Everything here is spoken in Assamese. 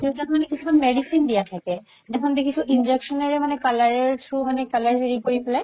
কিছুমান medicine দিয়া থাকে সিদিনাখন দেখিছো injection ৰে color ৰৰ through color হেৰি কৰি পেলাই